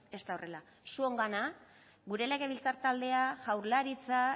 ez da horrela zuengana gure legebiltzar taldea jaurlaritza